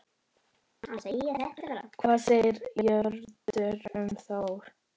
Hvað segir Jörundur um Þór?